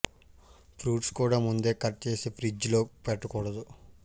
fruits కూడా ముందే cut చేసి ఫ్రిజ్ లో పెట్టకూడదు